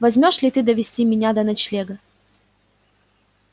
возьмёшься ли ты довести меня до ночлега